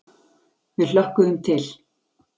Við hlökkuðum til.